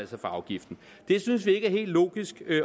for afgiften det synes vi ikke er helt logisk